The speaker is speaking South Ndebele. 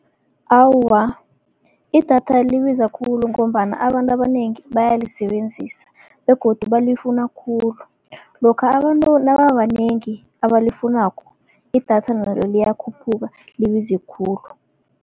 Awa, idatha libiza khulu ngombana abantu abanengi bayalisebenzisa, begodu balifuna khulu. Lokha abantu nababanengi abalifunako idatha nalo liyakhuphuka libize khulu.